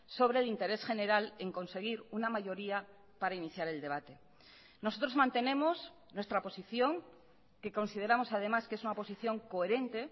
sobre el interés general en conseguir una mayoría para iniciar el debate nosotros mantenemos nuestra posición que consideramos además que es una posición coherente